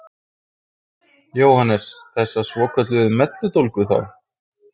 Jóhannes: Þessa svokölluðu melludólga þá?